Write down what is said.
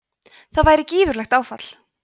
það væri gífurlegt áfall